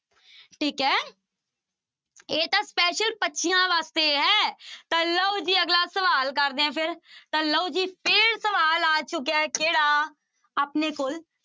ਠੀਕ ਹੈ ਇਹ ਤਾਂ special ਬੱਚਿਆਂ ਵਾਸਤੇ ਹੈ ਤਾਂ ਲਓ ਜੀ ਅਗਲਾ ਸਵਾਲ ਕਰਦੇ ਹਾਂ ਫਿਰ, ਤਾਂ ਲਓ ਜੀ ਫਿਰ ਸਵਾਲ ਆ ਚੁੱਕਿਆ ਹੈ ਕਿਹੜਾ ਆਪਣੇ ਕੋਲ